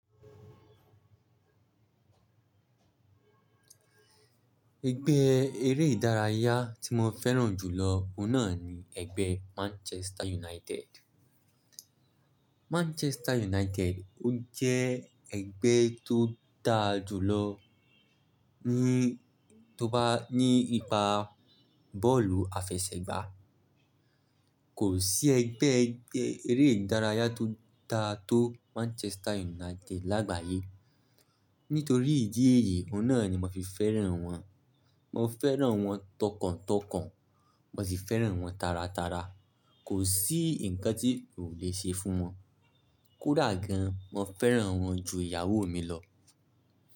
Ẹgbẹ́ eré ìdárayá tí mo fẹ́ràn jùlọ òun náà ni ẹgbẹ́ Manchester United Manchester United ó jẹ́ ẹgbẹ́ tó dára jù lọ ní, tó bá ní ipa bọ́ọ̀lù àfẹsẹ̀gbá. Kò sí ẹgbẹ́ eré ìdárayá tó dára tó Manchester United lágbàyé. Nítorí ìdí èyí, òun náà ni màá fi fẹ́ràn wọn. Mo fẹ́ràn wọn tọkàntọkàn. Mo sì fẹ́ràn wọn taratara. Kò sí ǹkan tí oo le ṣe fún wọn. Kódà gan, mo fẹ́ràn wọn ju ìyàwó mi lọ.